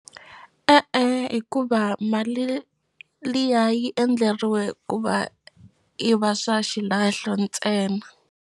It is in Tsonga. E-e hikuva mali liya yi endleriwe ku va yi va swa xilahlo ntsena.